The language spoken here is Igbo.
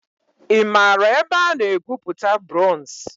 I maara ebe a na-egwupụta bronz?